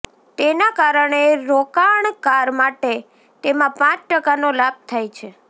તેના કારણે રોકાણકાર માટે તેમાં પાંચ ટકાનો લાભ થાય છે